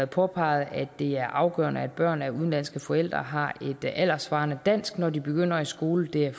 påpeget at det er afgørende at børn af udenlandske forældre har et alderssvarende dansk når de begynder i skolen og det er